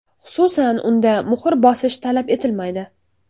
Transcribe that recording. Xususan, unda muhr bosish talab etilmaydi.